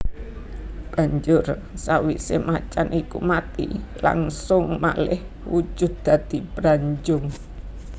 Banjur sawisé macan iku mati langsung malih wujud dadi Branjung